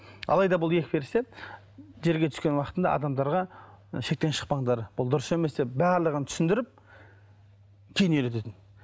алайда бұл екі періште жерге түскен уақытында адамдарға шектен шықпаңдар бұл дұрыс емес деп барлығын түсіндіріп кейін үйрететін